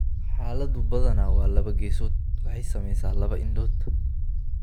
Xaaladdu badanaa waa laba geesood (waxay saamaysaa labada indhood).